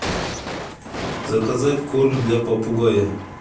заказать корм для попугая